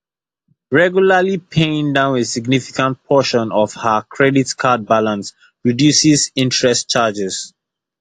regularly paying down a significant portion for ha credit card balance reduces interest charges